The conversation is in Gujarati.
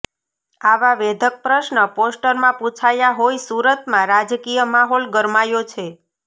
આવા વેધક પ્રશ્ન પોસ્ટરમાં પૂછાયા હોઈ સુરતમાં રાજકીય માહોલ ગરમાયો છે